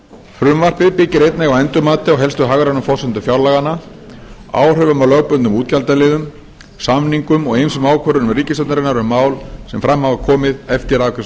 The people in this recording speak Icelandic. frumvarpið byggir einnig á endurmati á helstu hagrænu forsendum fjárlaganna áhrifum af lögbundnum útgjaldaliðum samningum og ýmsum ákvörðunum ríkisstjórnarinnar um mál sem fram hafa komið eftir